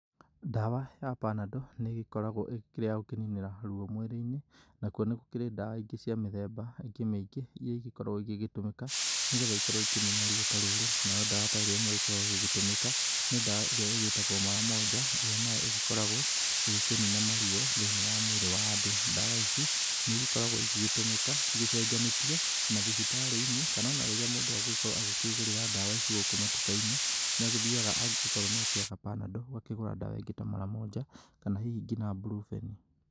Ndawa ya panadol nĩ ĩgĩkoragwo ĩrĩ ya gũkĩnĩnĩra ruo mwĩrĩ-inĩ nakuo nĩ gũkĩrĩ ndawa ingĩ cia mĩthemba ĩngĩ mĩingĩ iria igĩkoragwo igĩtũmĩka nĩ getha ikorwo ikĩnina ruo ta rũrũ. Nayo ndawa ta ĩmwe ĩrĩa ĩgĩkoragwo ĩgĩgĩtũmĩka nĩ ndawa ĩrĩa ĩgitagwo mara moja, ĩyo nayo igĩkoragwo ĩgĩkĩnina maruo thĩinĩ wa mwĩrĩ wa andũ. Ndawa ici nĩ igĩkoragwo igĩgĩtũmĩka cigĩcenjanĩtio mathibitarĩ-inĩ kana ona rĩrĩa mũndũ agũgĩkorwo agĩkĩgũrĩra ndawa ici gũkũ matuka-inĩ. Nĩ agĩthiaga angĩgĩkorwo nĩ akĩaga panadol, agakĩgũra ndawa ingĩ ta mara moja kana hihi ngina ta brufen